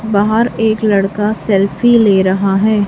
बाहर एक लड़का सेल्फी ले रहा है।